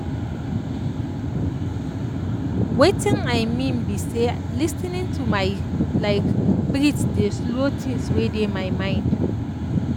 um weytin i mean bi say lis ten ing tomy like breathe dey slow things wey dey my mind